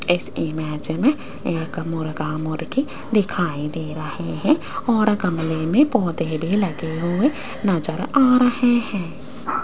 इस इमेज में एक मुर्गा मुर्गी दिखाई दे रहे हैं और गमले में पौधे भी लगे हुए नजर आ रहे हैं।